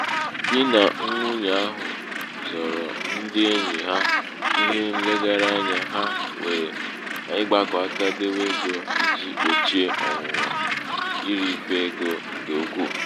di na nwunyè ahụ zooro ndị enyì ha ihe nlegara anyā ha nwèrè n’ịgbākọ̄ aka dewe ego ijī gbòchie ọ̀nwụ̀nwà irīfè egō ṅ̀kè ukwu.